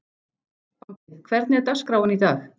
Bambi, hvernig er dagskráin í dag?